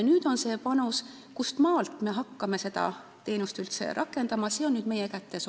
Selle otsustamine, kustmaalt me hakkame seda teenust üldse rakendama, on meie kätes.